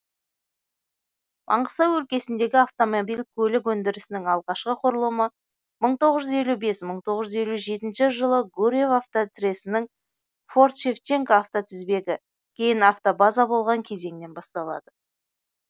маңғыстау өлкесіндегі автомобиль көлік өндірісінің алғашқы құрылымы мың тоғыз жүз елу бес мың тоғыз жүз елу жетінші жылы гурьев автотресінің форт шевченко автотізбегі кейін автобаза болған кезеңнен басталады